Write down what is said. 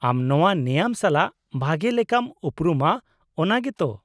-ᱟᱢ ᱱᱚᱶᱟ ᱱᱮᱭᱟᱢ ᱥᱟᱞᱟᱜ ᱵᱷᱟᱜᱮ ᱞᱮᱠᱟᱢ ᱩᱯᱨᱩᱢᱟ, ᱚᱱᱟ ᱜᱮᱛ?